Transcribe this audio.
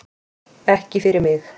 Ekki fyrir mig